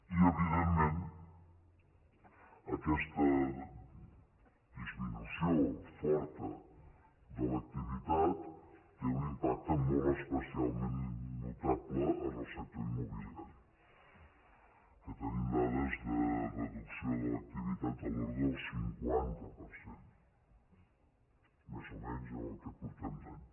i evidentment aquesta disminució forta de l’activitat té un impacte molt especialment notable en el sector immobiliari que tenim dades de reducció de l’activi·tat de l’ordre del cinquanta per cent més o menys en el que portem d’any